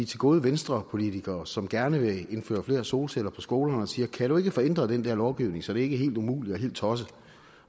til gode venstrepolitikere som gerne vil indføre flere solceller på skolerne og siger kan du ikke få ændret den der lovgivning så det ikke er helt umuligt og helt tosset